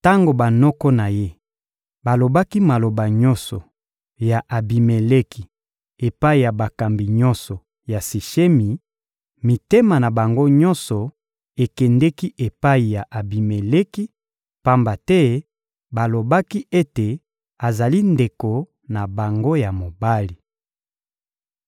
Tango banoko na ye balobaki maloba nyonso ya Abimeleki epai ya bakambi nyonso ya Sishemi, mitema na bango nyonso ekendeki epai ya Abimeleki, pamba te balobaki ete azali ndeko na bango ya mobali.